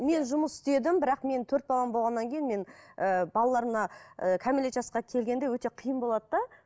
мен жұмыс мен жұмыс істедім бірақ мен төрт балам болғаннан кейін мен ііі балалар мына ііі кәмелеттік жасқа келгенде өте қиын болады да